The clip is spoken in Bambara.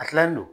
A kilalen don